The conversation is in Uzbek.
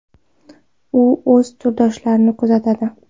U o‘z turdoshlarini kuzatadi.